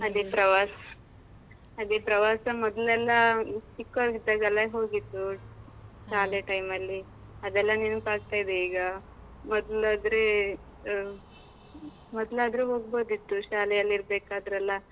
ಅದೇ ಪ್ರವಾಸ್, ಅದೇ ಪ್ರವಾಸ ಮೊದ್ಲೆಲ್ಲಾ, ಚಿಕ್ಕವರಿದ್ದಾಗೆಲ್ಲ ಹೋಗಿದ್ದು. ಶಾಲೆ time ನಲ್ಲಿ ಅದೆಲ್ಲಾ ನೆನಪಾಗ್ತಾಯಿದೆ ಈಗ. ಮೊದ್ಲಾದ್ರೇ ಮ್ ಮೊದ್ಲಾದ್ರೆ ಹೋಗ್ಬೋದಿತ್ತು ಶಾಲೆಯಲ್ಲಿ ಇರ್ಬೇಕಾದ್ರೆ ಅಲ